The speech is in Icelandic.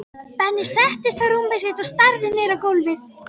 Benni settist á rúmið sitt og starði niður á gólfið.